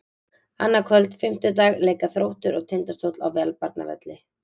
Annað kvöld, fimmtudag, leika Þróttur og Tindastóll á Valbjarnarvelli.